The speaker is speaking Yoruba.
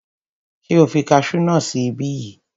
Ṣé o fi kasú náà sí ibí yìí?